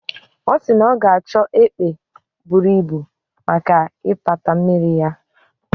O si na ya ga acho epe buru Ibu maka ipata mmiri ya